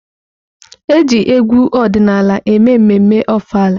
Eji egwu ọdịnala na-eme ememme Ofala.